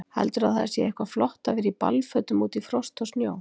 Heldurðu að það sé eitthvað flott að vera í ballfötum úti í frosti og snjó?